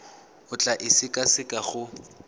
o tla e sekaseka go